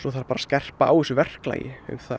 þarf bara að skerpa á þessu verklagi um